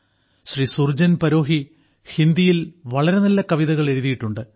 ശ്രീ സുർജൻ പരോഹി ഹിന്ദിയിൽ വളരെ നല്ല കവിതകൾ എഴുതിയിട്ടുണ്ട്